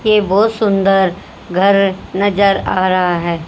ये बहुत सुंदर घर नजर आ रहा है।